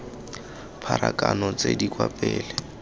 pharakano tse di kwa pele